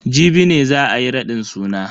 Jibi ne za ayi raɗin suna.